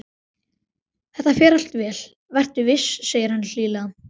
Þetta fer allt vel, vertu viss, segir hann hlýlega.